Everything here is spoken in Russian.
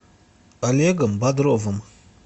олегом бодровым